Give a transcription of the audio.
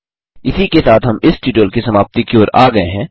इसी के साथ हम इस ट्यूटोरियल की समाप्ति की ओर आ गये हैं